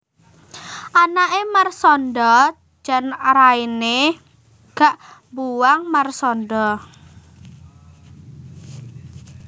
Anake Marshanda jan raine gak mbuwang Marshanda